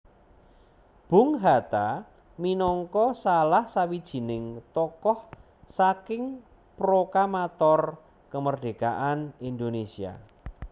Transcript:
Bung Hatta minangka salah sawijining tokoh saking prokamator kemerdekaan Indonésia